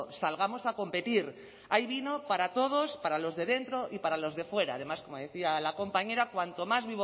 salgamos a competir hay vino para todos para los de dentro y para los de fuera además como decía la compañera cuanto más